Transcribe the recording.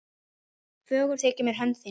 Fögur þykir mér hönd þín